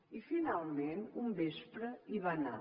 i finalment un vespre hi va anar